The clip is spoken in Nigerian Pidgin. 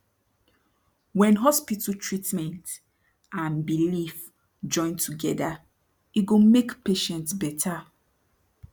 wen hospital treatment and belief join toegda e go make patient better